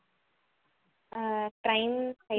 அஹ் crime